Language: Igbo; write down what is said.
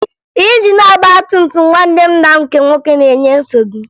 Injin ọgbatumtum nwanne nna m nke nwoke na-enye nsogbu m